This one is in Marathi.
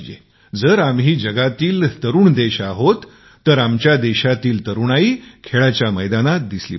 जर आम्ही जगातील युवा देश आहोत तर आमच्या देशातील तरुणाई खेळाच्या मैदानात दिसली पाहिजे